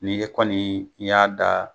N'i kɔni y'a da